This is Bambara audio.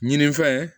Ɲinifɛn